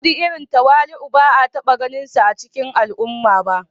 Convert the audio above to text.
Audu irin tawali'u ba a taba ganinsa a cikin al'umma ba